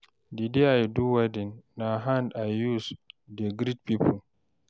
Di day wey I do wedding, na hand I use dey greet pipo.